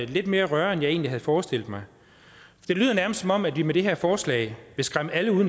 lidt mere røre end jeg egentlig havde forestillet mig det lyder nærmest som om vi med det her forslag vil skræmme alle